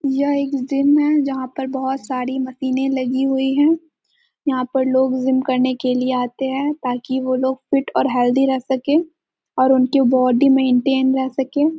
यह एक जिम है जहाँ पर बहुत सारी मशीने लगी हुई है यहाँ पर लोग जिम करने के लिए आते है ताकि वो लोग फीट और हेल्दी रह सके और इसके बॉडी मेंटेन रह सके ।